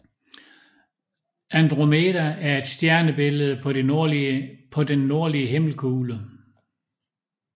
Andromeda er et stjernebillede på den nordlige himmelkugle